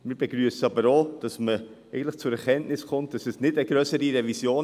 Wir begrüssen aber auch, dass man zur Erkenntnis kommt, es brauche jetzt keine grössere Revision.